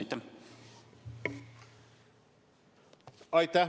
Aitäh!